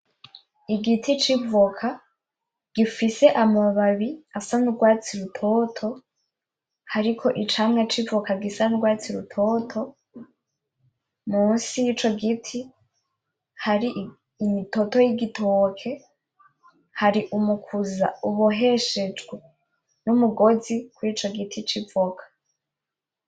Igiti c'ivoka gifise amababi asa n'ugwatsi rutoto hariko icamwa c'ivoka gisa n'ugwatsi rutoto, musi y'ico giti hari imitoto y'igitoke, hari umukuza uboheshejwe n'umugozi w'ico giti c'ivoka.